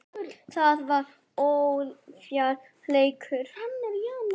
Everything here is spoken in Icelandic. Það var ójafn leikur.